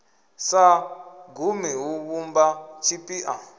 sa gumi hu vhumba tshipiḓa